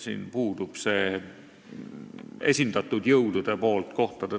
" Siin puudub see kohtade taotlemine esindatud jõudude poolt.